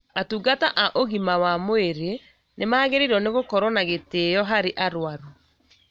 Atungata a ũgima wa mwĩrĩ nĩmagĩrĩirwo nĩgũkorwo na gĩtĩo harĩ arwaru